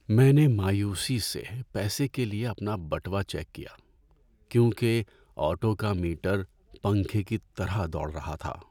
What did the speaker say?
میں نے مایوسی سے پیسے کے لیے اپنا بٹوہ چیک کیا کیونکہ آٹو کا میٹر پنکھے کی طرح دوڑ رہا تھا۔